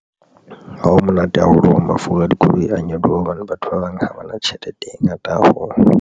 Ha o monate haholo hore mafura a dikoloi a nyoloha hobane batho ba bang ha ba na tjhelete e ngata haholo.